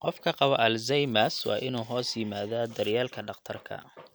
Qofka qaba Alzheimers waa inuu hoos yimaadaa daryeelka dhakhtarka.